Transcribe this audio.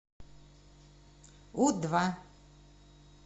у два